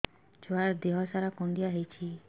ଛୁଆର୍ ଦିହ ସାରା କୁଣ୍ଡିଆ ହେଇଚି